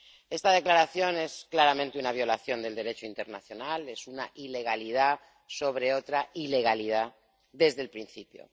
Esta declaración es claramente una violación del Derecho internacional, es una ilegalidad sobre otra ilegalidad desde el principio.